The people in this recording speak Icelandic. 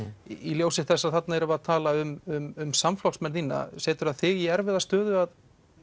í ljósi þess að þarna erum við að tala um samflokksmenn þína setur það þig í erfiða stöðu að